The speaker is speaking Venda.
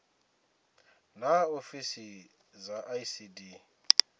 naa ofisi dza icd dzi